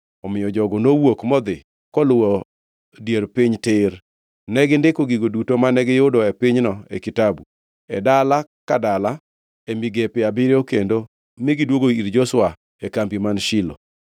Omiyo jogo nowuok modhi koluwo dier piny tir. Negindiko gigo duto mane giyudo e pinyno e kitabu, e dala ka dala, e migepe abiriyo kendo mi gidwogo ir Joshua e kambi man Shilo.